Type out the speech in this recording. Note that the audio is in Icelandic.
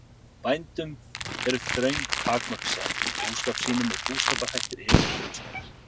Bændum eru þröng takmörk sett í búskap sínum og búskaparhættir yfirleitt frumstæðir.